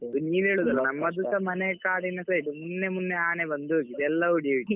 ನೀವ್ ಹೇಳುದಲ್ವಾ ನಮ್ಮದು ಕೂಡ ಮನೆ ಕಾಡಿನ side ನಿನ್ನೆ ಮೊನ್ನೆ ಆನೆ ಬಂದು ಹೋಗಿದೆ ಎಲ್ಲ ಹುಡಿ ಹುಡಿ.